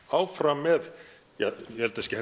áfram með ég held að það sé